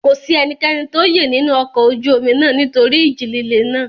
Kò sí ẹnikẹ́ni tó yè nínú ọkọ ojú omi náà nítorí ìjì líle náà.